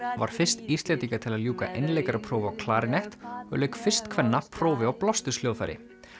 var fyrst Íslendinga til að ljúka einleikaraprófi á klarinett og lauk fyrst kvenna prófi á blásturshljóðfæri